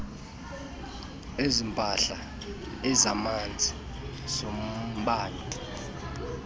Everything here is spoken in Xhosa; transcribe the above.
ezempahla ezamanzi ezombane